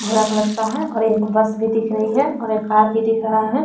भूरा कलर का है और एक बस भी दिख रही है एक कार भी दिख रहा है।